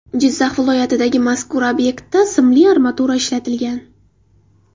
Jizzax viloyatidagi mazkur obyektda simli armatura ishlatilgan.